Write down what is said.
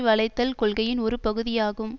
வளைத்தல் கொள்கையின் ஒரு பகுதியாகும்